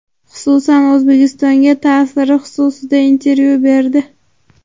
xususan O‘zbekistonga ta’siri xususida intervyu berdi.